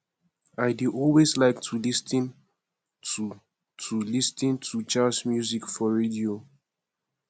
i dey always like to lis ten to to lis ten to jazz music for radio